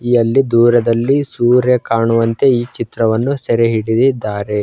ಯಲ್ಲಿ ದೂರದಲ್ಲಿ ಸೂರ್ಯ ಕಾಣುವಂತೆ ಈ ಚಿತ್ರವನ್ನು ಸೆರೆ ಹಿಡಿದಿದ್ದಾರೆ.